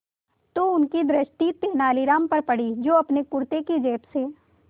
तो उनकी दृष्टि तेनालीराम पर पड़ी जो अपने कुर्ते की जेब से